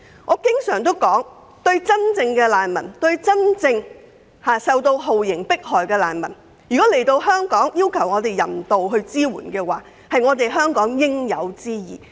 我經常指出，對於真正受到酷刑迫害的難民，當他們到達香港尋求人道支援時，給予協助是香港的應有之義。